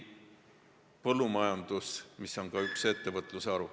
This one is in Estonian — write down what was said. Põllumajandus on ju üks ettevõtluse haru.